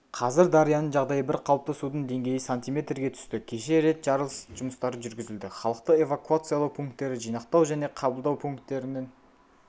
қазір дарияның жағдайы бір қалыпты судың деңгейі сантиметрге түсті кеше рет жарылыс жұмыстары жүргізілді халықты эвакуациялау пункттері жинақтау және қабылдау пункттерінің